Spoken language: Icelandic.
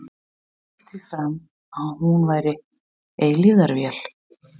Hann hélt því fram að hún væri eilífðarvél.